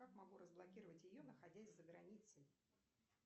как могу разблокировать ее находясь за границей